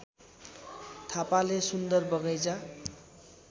थापाले सुन्दर बगैँचा